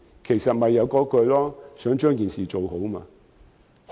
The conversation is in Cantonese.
其實，我也是想把事情做好。